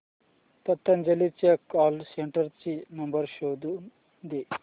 पतंजली च्या call centre चा number शोधून दे